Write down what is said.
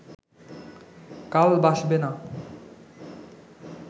কাল বাসবে না